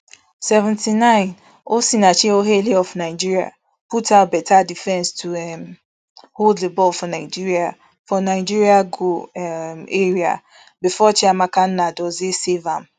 seventy-nine osinachi ohale of nigeria put out beta defence to um hold di ball for nigeria for nigeria goal um area bifor chiamaka nnadozie save am